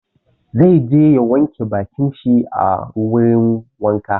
Zai je ya wanke bakin shi a wurin wanka.